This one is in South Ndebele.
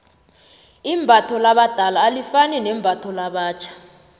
imbatho labadala alifani nembatho labatjho